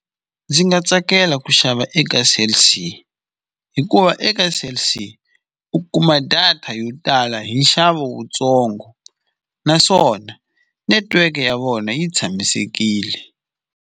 Ndzi nga tsakela ku xava eka Cell C, hikuva eka Cell C u kuma data yo tala hi nxavo wutsongo naswona netiweke ya vona yi tshamisekile.